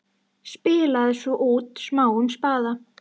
Spilaði svo út smáum spaða.